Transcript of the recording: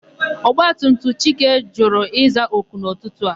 Ọgbatumtum Chike jụrụ ịza oku n'ụtụtụ a.